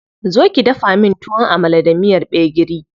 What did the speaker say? Zo ki dafa min Tuwon Amala da miyar gbegiri.